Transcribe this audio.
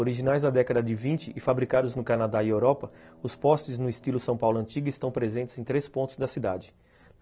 Originais na década de vinte e fabricados no Canadá e Europa, os postes no estilo São Paulo Antiga estão presentes em três pontos da cidade.